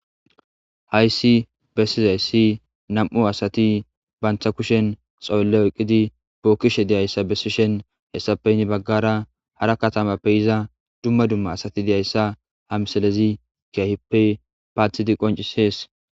hayssi bessizayssi nam7u asati bantta kushen xoylle oqqidi bookkishe deyayssa bessishen hessapeyni baggara hara katamappey iza dumma dumma asati deyayssa hamsalezi kiaheppe paathidi qoncis hees